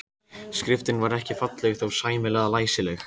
Skriftin var ekki falleg en þó sæmilega læsileg.